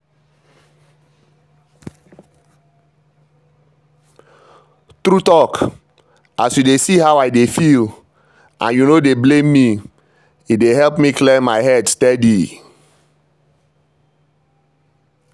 true talk as you dey see how i dey feel and you no dey blame me e dey help me clear my head steady.